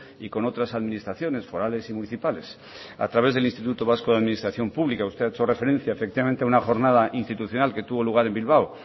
y con otras administraciones forales y municipales a través del instituto vasco de administración pública usted ha hecho referencia efectivamente a una jornada institucional que tuvo lugar en bilbao